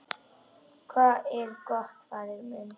Hvað er gott, faðir minn?